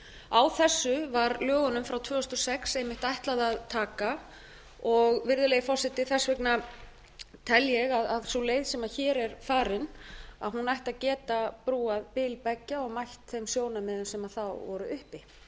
á þessu var lögunum frá tvö þúsund og sex einmitt ætlað að taka og virðulegi forseti þess vegna tel ég að sú leið sem hér er farin ætti að geta brúað bil beggja og mætt þeim sjónarmiðum sem þá voru